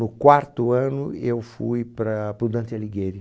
No quarto ano eu fui para para o Dante Alighieri.